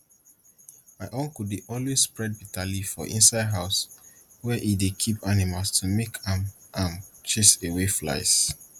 my uncle dey always spread bitter leaf for inside house wey e dey keep animal to make am am chase away flies